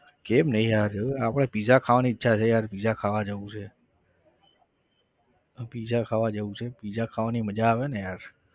કેમ નહિ યાર એવું આપણે pizza ખાવાની ઈચ્છા છે યાર pizza ખાવા જવું છે. pizza ખાવા જવું છે pizza ખાવાની મજા આવેને યાર.